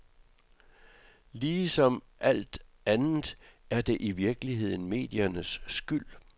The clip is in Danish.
Ligesom alt andet er det i virkeligheden mediernes skyld.